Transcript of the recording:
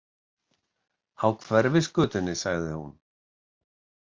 Á Hverfisgötunni, sagði hún.